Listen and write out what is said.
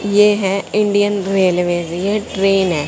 ये हैं Indian railway ये ट्रेन है।